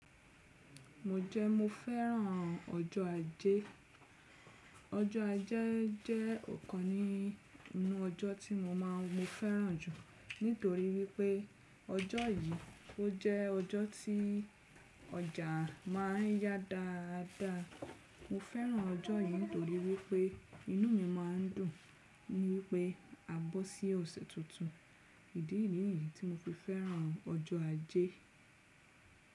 Mo jẹ́ mo fẹ́ràn ọjọ́ ajé. Ọjọ́ ajé jẹ́ ọ̀kan nínú ọjọ́ tí mo máa ń mo fẹ́ràn jù nítorí wípé ọjọ́ yìí ó jẹ́ ọjọ́ tí ọjà máa ń yá dáadáa. Mo fẹ́ràn ọjọ́ yìí nítorí wípé inú mi máa ń dùn ni wípé a bọ́ sí ọ̀sẹ̀ tuntun. Ìdí nìyí ni tí mo fi fẹ́ràn ọjọ́ ajé.